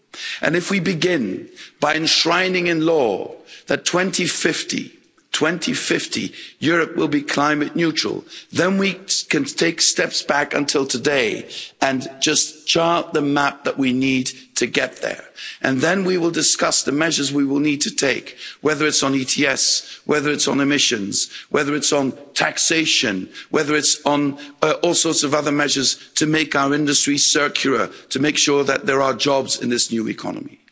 And if we begin by enshrining in law that by 2050 Europe will be climate neutral, then we can take steps back until today and just chart the map that we need to get there, and then we will discuss the measures we will need to take, whether it's on ETS, whether it's on emissions, whether it's on taxation, whether it's on all sorts of other measures to make our industry circular, to make sure that there are jobs in this new economy.